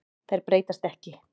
Þær breytast ekki.